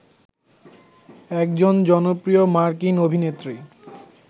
একজন জনপ্রিয় মার্কিন অভিনেত্রী